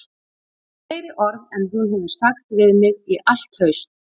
Fleiri orð en hún hefur sagt við mig í allt haust